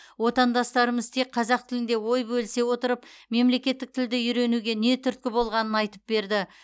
отандастарымыз тек қазақ тілінде ой бөлісе отырып мемлекеттік тілді үйренуге не түрткі болғанын айтып берді